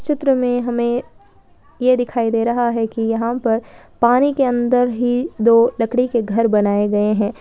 चित्र में हमें ये दिखाई दे रहा है कि यहाँ पर पानी के अंदर ही दो लकड़ी के घर बनाये गए है।